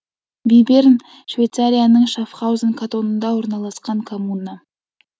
биберн швейцарияның шаффхаузен катонында орналасқан коммуна